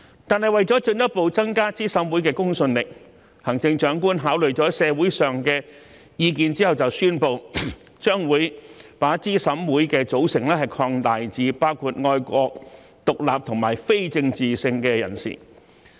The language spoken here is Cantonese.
但為了進一步增加資審會的公信力，行政長官考慮了社會上的意見後宣布，將會把資審會的組成擴大至包括愛國、獨立和非政治性的人士。